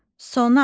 Sona.